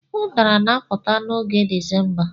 Udara na-apụta n'oge Disemba.